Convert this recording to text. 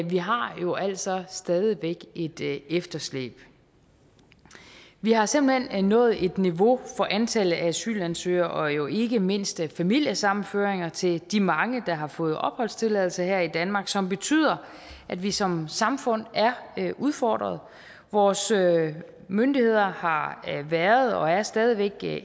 vi har jo altså stadig væk et efterslæb vi har simpelt hen nået et niveau for antallet af asylansøgere og jo ikke mindst familiesammenføringer til de mange der har fået opholdstilladelse her i danmark som betyder at vi som samfund er udfordret vores myndigheder har været og er stadig væk